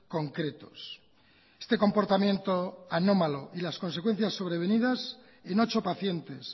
concretos este comportamiento anómalo y las consecuencias sobrevenidas en ocho pacientes